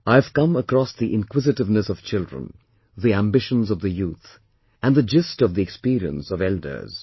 I have come across the inquisitiveness of children, the ambitions of the youth, and the gist of the experience of elders